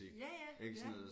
Ja ja ja